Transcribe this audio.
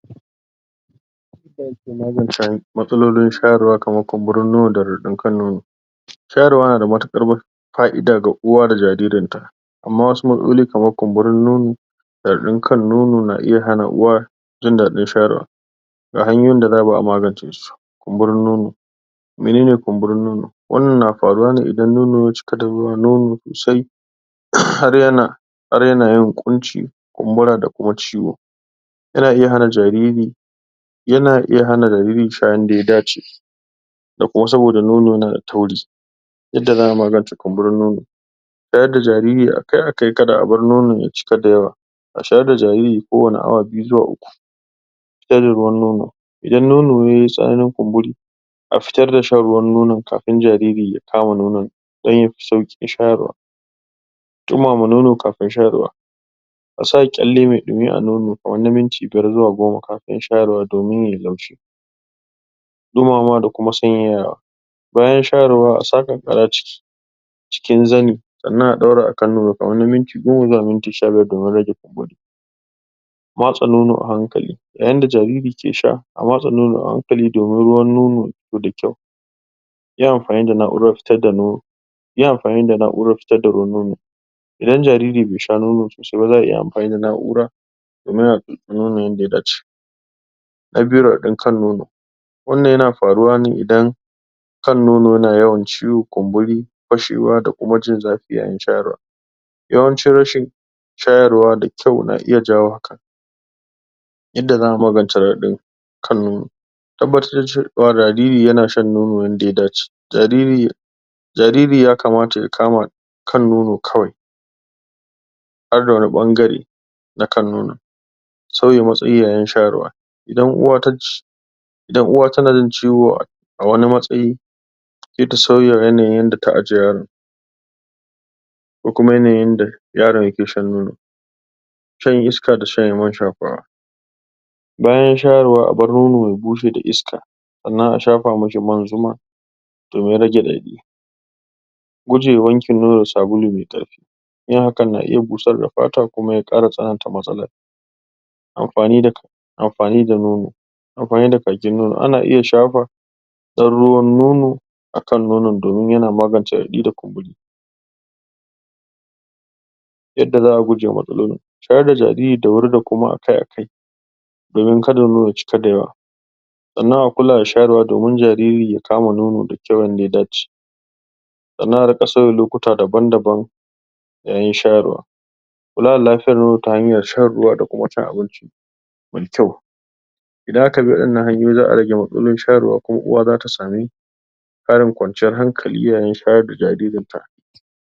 Matsalolin shayarwa kamar kumburin kan nono da radadin kan nono, shayarwa na da mutukar faida ga uwa da jaririn ta amma wasu matsaloli kamar kumburin kan nono da radadin kan nono na iya hana uwar jin dadin shayarwa, ga hanyoyin da za'a bi a magance su, kumburin nono menene kumburin nono? Wannan na faruwa me idan nono ya cika da ruwan nono sannan har yana yin kunci kumbura da kuma ciwo. Yana iya hana jariri Yana iya hana jariri sha yanda ya dace, da kosarwa saboda nono yana da tauri yadda za'a magance kumburin nono shayarda jariri akai-akai kada nono ya cika da yawa a shayar da jariri kowanne awa biyu zuwa uku Fitar da ruwan nono, idan nono yayi tsami ko ya yi kumburi a fitar da shan ruwan nonon kafin jarori ya kama nonon don yafi saukin shayarwa, dumama nono kafin shayarwa, asa kyalle mai dumi a nonon kamar na minti biyar zuwa goma kafin shayarwa domin yayi laushi dumamawa da kuma sanyayawa, bayan Shayarwa a sa kankaara a cikin zani sannan a daura akan nono kamar na minti goma zuwa minti sha biyar domin rage kumburi. Matsa nono a hankali yayin da jariri ke sha, a matsa nono domin ruwan nono ya fito da kyau. Yin amfani da na'urar fitar da nono Yin amfani da na'urar fitar da nono idan jariri bai sha nono sosai ba, za'a iya amfani da na'ura domin a tatsi nono yadda ya dace. Na a biyu radadin kan nono, wannan yana faruwa ne idan kan nono yana yawan ciwo kumburi, fashewa da kuma jin zafi yayin Shayarwa yawanci rashin shayarwa da kayau na iya janyo hakan yadda za'a magance radadin kan nono tabbatar da cewa jariri yana shan nono yadda ya dace, jariri jariri ya kamata ya kama kan nono kawai banda wani bangare na kan nono, sauya matsayi yayin shayarwa, idan uwa taci idan uwa tana jin ciwo a wani matsayi saita sauya yanayin yadda ta aje yaron ko kuma yanayin yadda yaron yake shan nono?? Bayan shayarwa a bar nono ya bushe da iska sannan a shafa man zuma domin rage radadi guje wanke nono da sabulu mai karfi, yin hakan na iya busar da fata kuma ya kara tsananta matsalar amfani da-amfani da nono- amfani da kakin nono, ana iya shafa, ana iya shafa dan ruwan nono akan nonon domin yana magance radadi da kumburi yadda za'a gujewa matsalar, shayar da jariri da wuri da kuma akai-akai domin kada nono ya cika da yawa, sannan a kula da shayarwa domin jariri ya kama nono da kyau yanda ya dace sannan a dinga sauya lokuta daban daban yayinshayarwa kula da lafiyar nono ta habyar shan ruwa da kuma cin abinci mai kyau idan aka bi wadannan hanyoyi za'a rage matsalolin shayarwa kuma uwa zata sami karin kwanciyar hankali yayin shayar da jaririn ta.